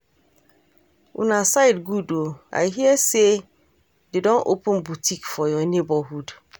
Una side good oo, I hear say dey don open boutique for your neighborhood